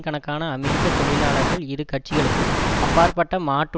கணக்கான அமெரிக்க தொழிலாளர்கள் இரு கட்சிகளுக்கும் அப்பாற்பட்ட மாட்டு